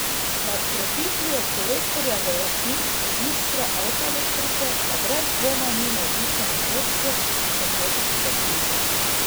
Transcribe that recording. Nad krepitvijo Kolektorja v lastništvu Iskre Avtoelektrike pa brez dvoma ni navdušeno vodstvo šempetrske družbe.